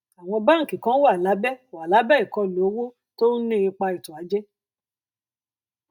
àwọn báńkì kan wà lábẹ wà lábẹ ìkọlù owó tó ń ní ipa ètòajé